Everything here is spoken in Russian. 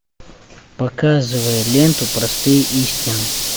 показывай ленту простые истины